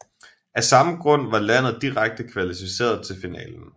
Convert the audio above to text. Af samme grund var landet direkte kvalificeret til finalen